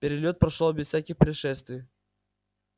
перелёт прошёл без всяких происшествий